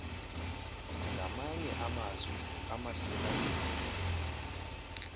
ngamanye amazwi amasirayeli